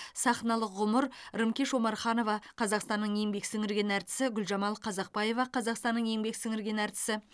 сахналық ғұмыр рымкеш омарханова қазақстанның еңбек сіңірген артисі гүлжамал қазақбаева қазақстанның еңбек сіңірген артисі